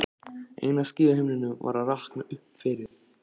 Eina skýið á himninum var að rakna upp yfir